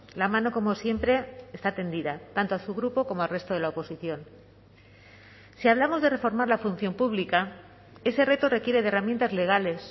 la mano como siempre está tendida tanto a su grupo como al resto de la oposición si hablamos de reformar la función pública ese reto requiere de herramientas legales